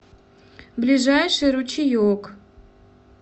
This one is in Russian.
ближайший ручеек